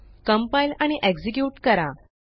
compile आणि execute करा